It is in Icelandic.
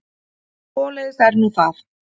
Svoleiðis er nú það.